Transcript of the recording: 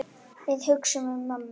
Við hugsum um mömmu.